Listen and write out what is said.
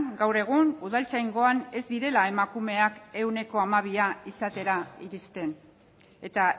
gaur egun udaltzaingoan ez direla emakumeak ehuneko hamabia izatera iristen eta